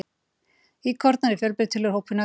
Íkornar eru fjölbreytilegur hópur nagdýra.